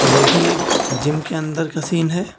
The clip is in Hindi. यह भी एक जिम के अंदर का सीन है।